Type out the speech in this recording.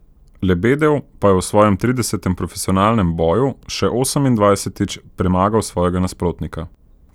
Lebedev pa je v svojem tridesetem profesionalnem boju še osemindvajsetič premagal svojega nasprotnika.